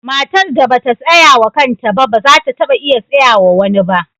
Matar da ba ta tsaya wa kanta ba, ba za ta taba iya tsayawa wa wani ba.